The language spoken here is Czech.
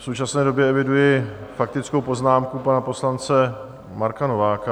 V současné době eviduji faktickou poznámku pana poslance Marka Nováka.